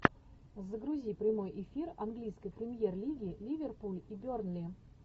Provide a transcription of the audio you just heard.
загрузи прямой эфир английской премьер лиги ливерпуль и бернли